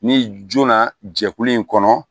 Ni joona jɛkulu in kɔnɔ